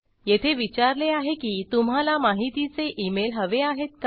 येथे विचारले आहे की तुम्हाला माहितीचे इमेल हवे आहेत का